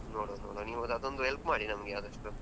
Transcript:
ನೋಡುವ ನೀವು ಅದೊಂದು help ಮಾಡಿ ನಮ್ಗೆ ಆದಷ್ಟು.